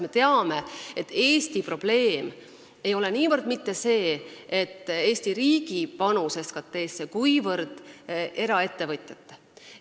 Me teame, et Eesti probleem ei ole niivõrd mitte Eesti riigi panus, kuivõrd eraettevõtjate panus.